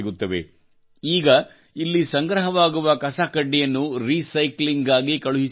ಈಗ ಇಲ್ಲಿ ಸಂಗ್ರಹವಾಗುವ ಕಸಕಡ್ಡಿಯನ್ನು ರೀಸೈಕ್ಲಿಂಗ್ ಗಾಗಿ ಕಳುಹಿಸಿಕೊಡಲಾಗುತ್ತದೆ